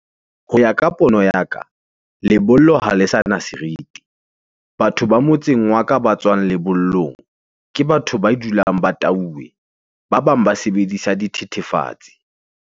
Ho ya ka pono ya ka, lebollo ha le sa na seriti. Batho ba motseng wa ka ba tswang lebollong, ke batho ba dulang ba tauwe. Ba bang ba sebedisa dithethefatsi.